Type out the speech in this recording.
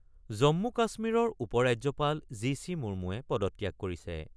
জম্মু-কাশ্মীৰৰ উপৰাজ্যপাল G C মুমুৱে পদত্যাগ কৰিছে।